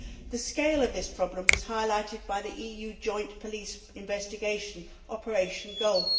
The scale of this problem was highlighted by the EU joint police investigation, Operation Golf.